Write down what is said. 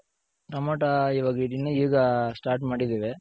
Tomato ಈವಾಗ್ ಇದಿನ್ನ ಈಗ ಸ್ಟಾರ್ಟ್ ಮಾಡಿದಿವಿ.